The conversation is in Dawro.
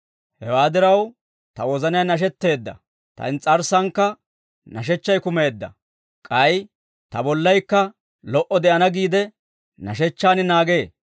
Hewaa diraw, ta wozanay nashetteedda; ta ins's'arssankka nashechchay kumeedda. K'ay ta bollaykka lo"o de'ana giide, nashechchaan naagee.